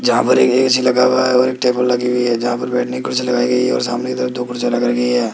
जहां पर एक ए_सी लगा हुआ है और एक टेबल लगी हुई है जहां पर बैठने की कुर्सी लगाई गई है और सामने कि तरफ दो कुर्सियां लगाई गई है।